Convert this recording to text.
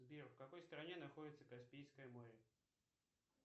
сбер в какой стране находится каспийское море